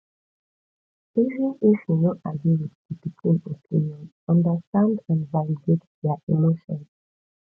even if you no agree with di pikin opinion understand and validate their emotion